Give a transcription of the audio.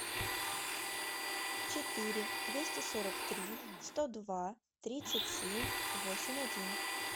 четыре двести сорок три сто два тридцать семь восемь один